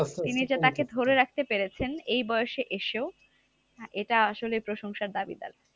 তিনি যে তাকে ধরে রাখতে পেরেছেন এই বয়সে এসেও, এটা আসলে প্রশংসার দাবিদার।